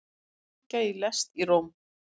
Sprengja í lest í Róm